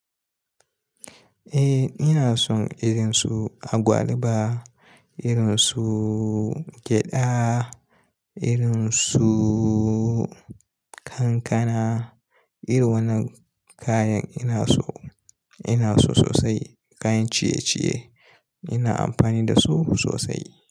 Eh, ina son irin su agwaluma, irin su gyada, irin su kankana. Irin wannan kayan ina so, ina so sosai. Kayan ciye-ciye ina amfani da su sosai.